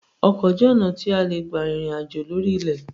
Ọkọ jẹ́ ọ̀nà tí a lè gbà rìnrìn àjò lórí ilẹ̀